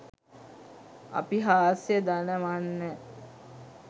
අපි හාස්‍ය දනවන්න